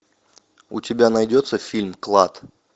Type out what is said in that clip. у тебя найдется фильм клад